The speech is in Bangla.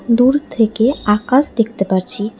দূর থেকে আকাশ দেখতে পারছি।